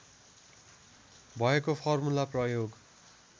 भएको फर्मुला प्रयोग